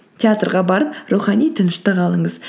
театрға барып рухани тыныштық алыңыз